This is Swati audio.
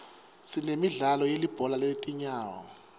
sinemidlalo yelibhola letinyawo